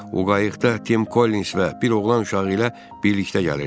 O qayıqda Tim Kollins və bir oğlan uşağı ilə birlikdə gəlirdi.